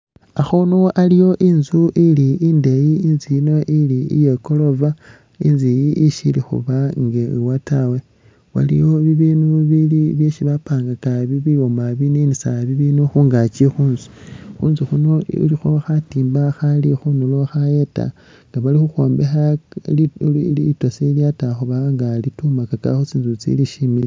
Akhundu aliwo intsu ili indeeyi itsu ino ili iye gorofa intsu iyi ishili khuba inga iwa tawe waliwo bibindu bili byesi bapanga bibwoma bibininisa bibindu khungakyi khutsu , khutsu khuno ilikho khatimba khali khunduro khayeta nga bali nga bali khukhombekha litosi lyatakhubanga litumaka khutsitsu tsili shimbi taa.